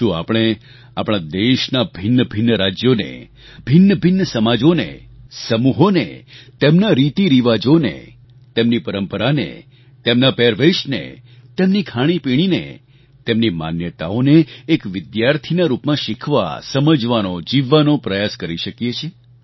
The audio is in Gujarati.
શું આપણે આપણા દેશનાં ભિન્નભિન્ન રાજ્યોને ભિન્નભિન્ન સમાજોને સમૂહોને તેમના રીતિરિવાજોને તેમની પરંપરાને તેમના પહેરવેશને તેમની ખાણીપીણીને તેમની માન્યતાઓને એક વિદ્યાર્થીના રૂપમાં શીખવા સમજવાનો જીવવાનો પ્રયાસ કરી શકીએ છીએ